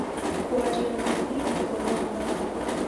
kwaria na niĩ ũhoro wa mathako